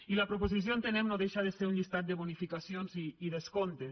i la propo·sició entenem no deixa de ser un llistat de bonificaci·ons i descomptes